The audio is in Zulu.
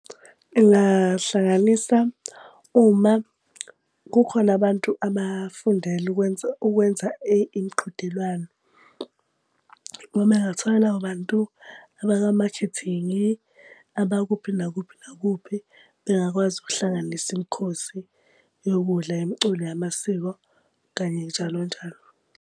Ngingahlanganisa uma kukhona abantu abafundele ukwenza ukwenza imiqhudelwano. Uma ngathola labo bantu abaka makhethingi abakuphi nakuphi nakuphi ngingakwazi ukuhlanganisa imikhosi yokudla, imiculo yamasiko kanye njalo njalo,